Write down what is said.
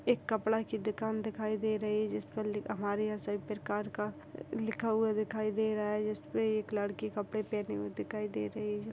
एक कपड़ा की दुकान दिखाई दे रही है जिस पर लिखा हमारे यहाँ सभी प्रकार का लिखा हुआ दिखाई दे रहा है जिस पे एक लड़की कपड़े पहने हुए दिखाई दे रही हैं।